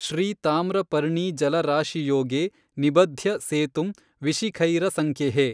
ಶ್ರೀತಾಮ್ರಪರ್ಣೀಜಲರಾಶಿಯೋಗೇ ನಿಬಧ್ಯ ಸೇತುಂ ವಿಶಿಖೈರಸಂಖ್ಯೈಃ